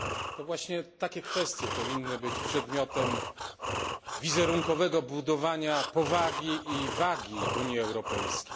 To właśnie tego rodzaju kwestie powinny być przedmiotem wizerunkowego budowania powagi i wagi Unii Europejskiej.